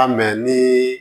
An mɛ ni